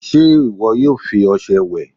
se iwọ yoo fi ọṣẹ we ìwè?